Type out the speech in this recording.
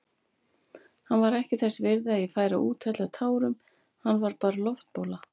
Hann var ekki þess virði að ég færi að úthella tárum, hann var bara loftbóla.